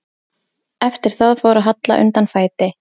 Eftir það fór að halla undan fæti.